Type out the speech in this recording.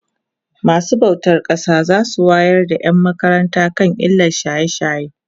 masu bautan ƙasa zasu wayar da ƴan makaranta kan illan shaye shaye